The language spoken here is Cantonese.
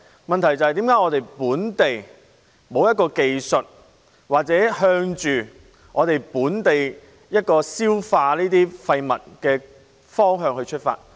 問題是為何本地沒有相關技術處理，或向着在本地消化廢物的方向出發？